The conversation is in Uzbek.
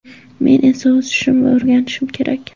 Men esa o‘sishim va o‘rganishim kerak.